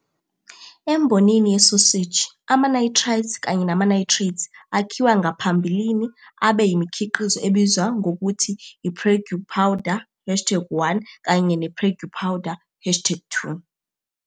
Embonini yesoseji ama-nitrites kanye nama-nitrate akhiwa ngaphambilini abe yimikhiqizo ebizwa ngokuthi i-Prague powder hashtag 1 kanye ne-Prague powder hashtag 2.